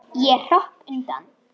Ég hrökk undan.